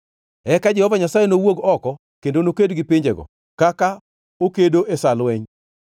Eka Jehova Nyasaye nowuog oko kendo noked gi pinjego, kaka okedo e sa lweny.